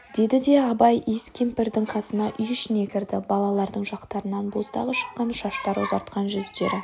деді де абай иіс кемпірдің қасына үй ішіне кірді балалардың жақтарынан боздағы шыққан шаштары ұзартқан жүздері